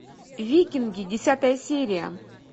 викинги десятая серия